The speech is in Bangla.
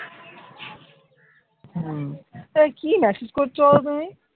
হম এই কি massage করছো বলতো তুমি?